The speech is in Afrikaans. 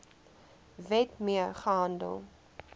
wet mee gehandel